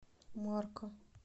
марка